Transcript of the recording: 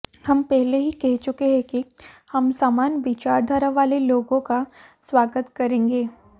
हम पहले ही कह चुके हैं कि हम समान विचारधारा वाले लोगों का स्वागत करेंगे